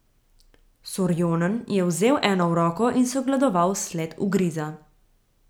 Sorjonen je vzel eno v roko in si ogledoval sled ugriza.